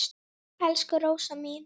Elsku Rósa mín.